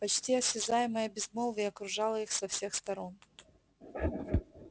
почти осязаемое безмолвие окружало их со всех сторон